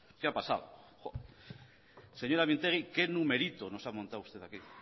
qué ha pasado señora mintegi qué numerito nos ha montado usted aquí